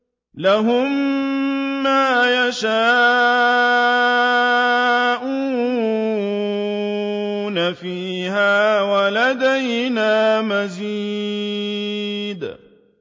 لَهُم مَّا يَشَاءُونَ فِيهَا وَلَدَيْنَا مَزِيدٌ